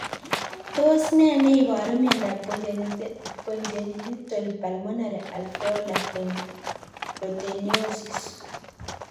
Tos nee neiparu miondop Congenital pulmonary alveolar proteinosis?